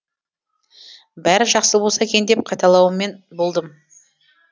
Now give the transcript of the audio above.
бәрі жақсы болса екен деп қайталаумен болдым